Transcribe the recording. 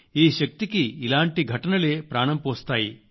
ఈ శక్తికి ఇలాంటి ఘటనలే ప్రాణం పోస్తాయి